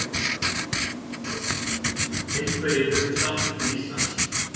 Einhverjir fluttust aftur til Íslands.